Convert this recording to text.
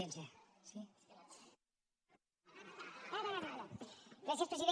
gràcies president